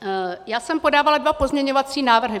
Já jsem podávala dva pozměňovací návrhy.